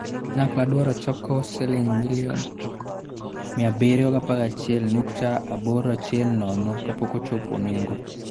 Kanyakla dwaro choko Sh711.810 million kapok ochopo nengo.